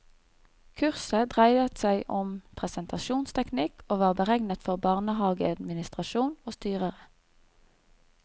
Kurset dreide seg om presentasjonsteknikk og var beregnet for barnehageadministrasjon og styrere.